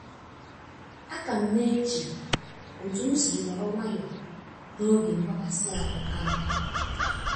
a ka m na-eche otu m si nọrọ nwayọ na-oge mgbakasị ahụ ahu